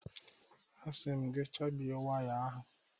A sim gị chabie waya ahụ.!